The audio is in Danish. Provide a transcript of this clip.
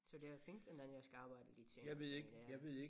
Så det er fint og den jeg skal arbejde lidt senere her i dag